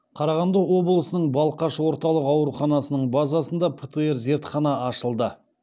қарағанды облысының балқаш орталық ауруханасының базасында птр зертхана ашылды